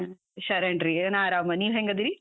ಹ್ಮ್ ಶರಣ್ರೀ, ಏ ನಾ ಆರಾಮ, ನೀವ್ ಹೆಂಗದಿರಿ?